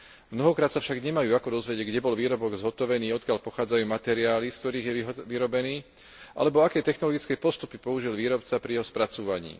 Mnohokrát sa však nemajú ako dozvedieť, kde bol výrobok zhotovený, odkiaľ pochádzajú materiály, z ktorých je vyrobený, alebo aké technologické postupy použil výrobca pri jeho spracúvaní.